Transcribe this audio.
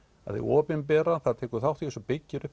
að hið opinbera tekur þátt í þessu og byggir upp